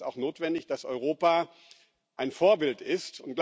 Es ist auch notwendig, dass Europa ein Vorbild ist.